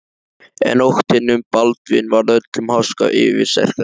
En óttinn um Baldvin varð öllum háska yfirsterkari.